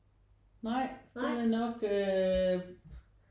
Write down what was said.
Nej den er nok øh